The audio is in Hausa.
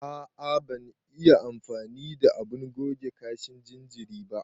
A a ban iya amfani da abun goge kashin jinjiri ba.